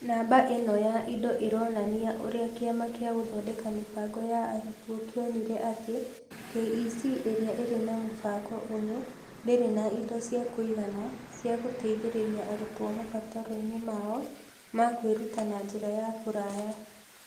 Namba ĩno ya indo ironania ũrĩa kĩama kĩa Gũthondeka Mĩbango ya Arutwo kĩonire atĩ KEC ĩrĩa ĩrĩ na mũbango ũyũ ndĩrĩ na indo cia kũigana cia gũteithĩrĩria arutwo mabataro-inĩ mao ma kwĩruta na njĩra ya kũraya.